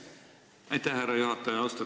Aitäh, härra juhataja!